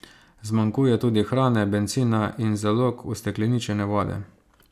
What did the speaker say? Zmanjkuje tudi hrane, bencina in zalog ustekleničene vode.